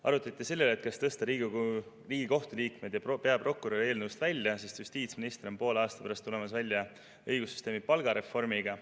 Arutati ka selle üle, kas tõsta Riigikohtu liikmed ja peaprokurör eelnõust välja, sest justiitsminister tuleb poole aasta pärast välja õigussüsteemi palgareformiga.